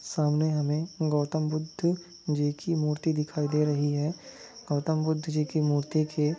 सामने हमे गौतम बुद्ध जी की मूर्ति दिखाई दे रही है। गौतम बुद्ध जी की मूर्तिकी--